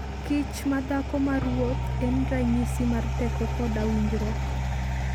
Kich ma dhako maruoth en ranyisi mar teko koda winjruok.